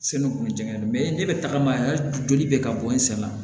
Seli kun tɛ ne bɛ tagama yan joli bɛ ka bɔ n sen na